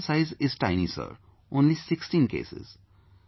Here the sample size is tiny Sir...only 16 cases